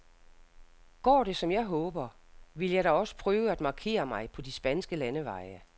Går det, som jeg håber, vil jeg da også prøve at markere mig på de spanske landeveje.